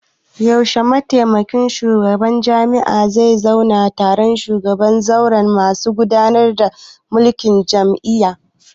Yaushe mataimakin shugabar jami'ah zai zauna taro da shugaban zauren masu gudanar da mulkin jami'a?